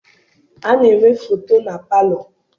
A na-enwe foto na palọ.